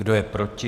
Kdo je proti?